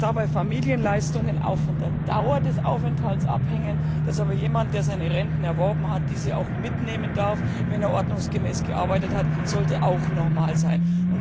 Dass dabei Familienleistungen auch von der Dauer des Aufenthalts abhängen, dass aber jemand, der seine Renten erworben hat, diese auch mitnehmen darf, wenn er ordnungsgemäß gearbeitet hat, sollte auch normal sein.